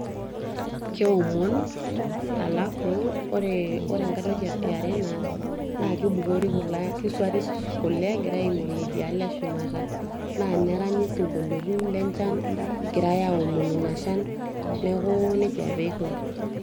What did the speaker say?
keomon alafu ore enkae toki iare naas naa kibukori kule, kisuari kule egirae aing'orie idialo eshumata naa neranyi isinkoliotin lenchan egirae aomonu ina shan neeku nejia apa eiko.